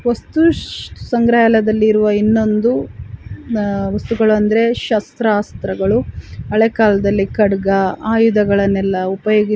ವಸ್ತು ಸಂಗ್ರಹಾಲಯದಲ್ಲಿ ಇರುವ ಇನ್ನೊಂದು ವಸ್ತುಗಳು ಅಂದ್ರೆ ಶಸ್ತ್ರ ಅಸ್ತ್ರಗಳು ಹಳೇ ಕಾಲದಲ್ಲಿ ಖಡ್ಗ ಆಯುಧಗಳನ್ನು ಎಲ್ಲಾ ಉಪಯೋಗಿ --